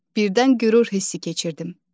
Birdən qürur hissi keçirdim.